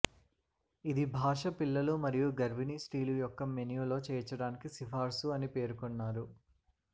ఇది భాష పిల్లలు మరియు గర్భిణీ స్త్రీలు యొక్క మెను లో చేర్చడానికి సిఫార్సు అని పేర్కొన్నారు